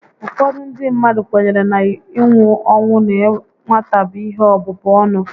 Ụfọdụ ndị mmadụ kwenyere na inwu ọnwụ na nwata bụ ihe ọbụbụ ọnụ